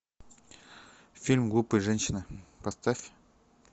фильм глупая женщина поставь